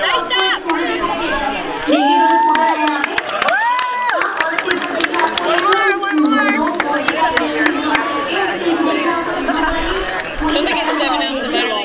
तो आपको एक स्कूटर दिखाई दे रहे होंगे देखिए दो स्कूटर है यहाँपे हा और उसके ऊपर देखिये आपको एक ओ-दो बोर्ड दिखाई दे रहे होंगे ब्लू कलर के उसके नीचे देखिए आपको एक ब्लू कलर की पूरी चॅनेल दिखाई देगी।